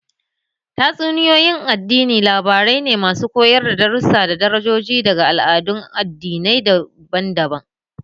Tatsuniyoyi na addini labarai ne masu koyar da darussa da darajoji daga al'adun addinai daban-daban.